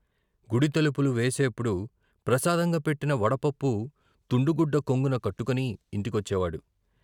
గుడి తలుపులు వేసేప్పుడు ప్రసాదంగా పెట్టిన వడపప్పు తుండుగుడ్డ కొంగున కట్టుకుని ఇంటికొచ్చేవాడు.